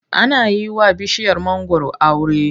Ana yi wa bishiyar mangwaro aure.